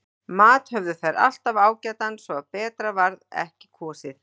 Mat höfðu þær alltaf ágætan svo að betra varð ekki á kosið.